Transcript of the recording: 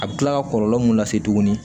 A bɛ kila ka kɔlɔlɔ mun lase tuguni